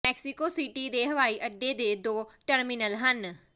Mexico City ਦੇ ਹਵਾਈ ਅੱਡੇ ਦੇ ਦੋ ਟਰਮੀਨਲ ਹਨ